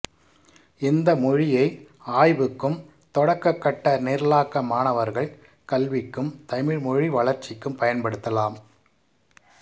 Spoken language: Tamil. இந்த மொழியை ஆய்வுக்கும் தொடக்க கட்ட நிரலாக்க மாணவர்கள் கல்விக்கும் தமிழ் மொழி வளர்ச்சிக்கும் பயன்படுத்தலாம்